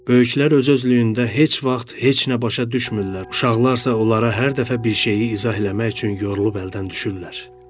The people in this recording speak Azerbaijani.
Böyüklər öz-özlüyündə heç vaxt heç nə başa düşmürlər, uşaqlar isə onlara hər dəfə bir şeyi izah eləmək üçün yorulub əldən düşürlər.